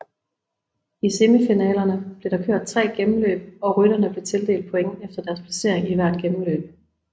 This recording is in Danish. I semifinalerne blev der kørt tre gennemløb og rytterne blev tildelt points efter deres placering i hvert gennemløb